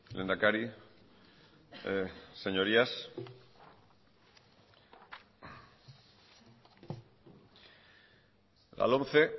lehendakari señorías la lomce